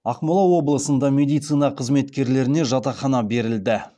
ақмола облысында медицина қызметкерлеріне жатақхана берілді